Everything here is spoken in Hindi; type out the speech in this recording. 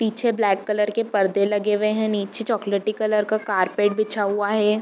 पीछे ब्लैक कलर के परदे लगे हुए हैं नीचे चॉकलेटी कलर का कारपेट बिछा हुआ हैं।